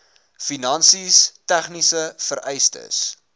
finansies tegniese vereistes